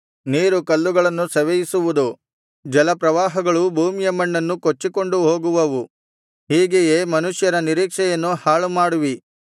ನೀರು ಕಲ್ಲುಗಳನ್ನು ಸವೆಯಿಸುವುದು ಜಲಪ್ರವಾಹಗಳು ಭೂಮಿಯ ಮಣ್ಣನ್ನು ಕೊಚ್ಚಿಕೊಂಡು ಹೋಗುವವು ಹೀಗೆಯೇ ಮನುಷ್ಯರ ನಿರೀಕ್ಷೆಯನ್ನು ಹಾಳುಮಾಡುವಿ